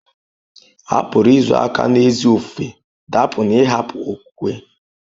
A pụrụ izo aka n'ezi ofufe dapụ n'ịhapụ okwukwe.